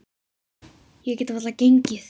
Ég get varla gengið.